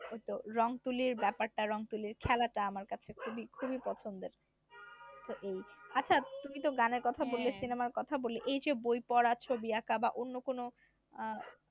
ওই তো রং তুলির ব্যাপার টা রং তুলির খেলা টা আমার কাছে খুবই খুবই পছন্দের তো এই আচ্ছা তুমি তো গানের কথা বললে সিনেমার কথা বললে এই যে বই পড়া ছবি আকা বা অন্য কোন আহ